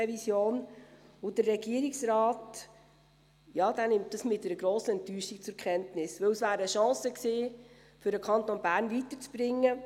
Das nimmt der Regierungsrat mit einer grossen Enttäuschung zur Kenntnis, denn es war eine Chance, den Kanton Bern weiterzubringen.